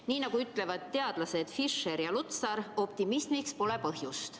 Nii nagu ütlevad teadlased Fischer ja Lutsar, optimismiks pole põhjust.